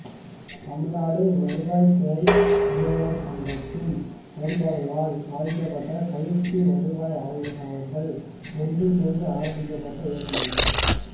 தமிழ்நாடு வருவாய் துறை அலுவலா் சங்கத்தின் செயல்பாடுகளால் பாதிக்கப்பட்ட பயிற்சி வருவாய் ஆய்வாளா்களால் ஒன்று சோ்ந்து ஆரம்பிக்கப்பட்ட இயக்கமாகும்